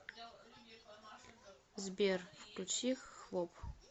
сбер включи хвоб